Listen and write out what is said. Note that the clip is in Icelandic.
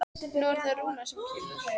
Nú er það Rúnar sem kemur.